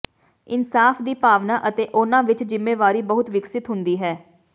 ਇਨਸਾਫ ਦੀ ਭਾਵਨਾ ਅਤੇ ਉਨ੍ਹਾਂ ਵਿੱਚ ਜਿੰਮੇਵਾਰੀ ਬਹੁਤ ਵਿਕਸਤ ਹੁੰਦੀ ਹੈ